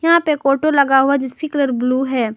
यहां पे कोटो लगा हुआ है जिसकी कलर ब्लू है।